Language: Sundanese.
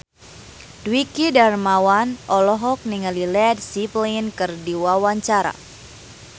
Dwiki Darmawan olohok ningali Led Zeppelin keur diwawancara